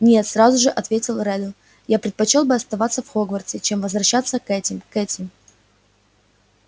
нет сразу же ответил реддл я предпочёл бы оставаться в хогвартсе чем возвращаться к этим к этим